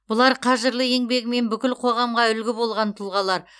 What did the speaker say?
бұлар қажырлы еңбегімен бүкіл қоғамға үлгі болған тұлғалар